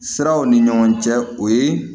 Siraw ni ɲɔgɔn cɛ o ye